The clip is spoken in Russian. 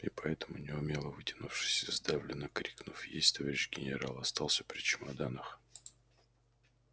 и поэтому неумело вытянувшись и сдавленно крикнув есть товарищ генерал остался при чемоданах